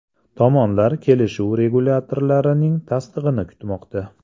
Tomonlar kelishuv regulyatorlarning tasdig‘ini kutmoqda.